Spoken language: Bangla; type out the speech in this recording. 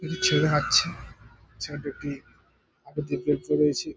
একটি ছেলে হাটছে | ছেলে টি একটি --